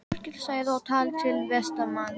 Þórkell sagði og talaði til Vestmanns